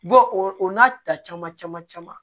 o n'a ta caman caman caman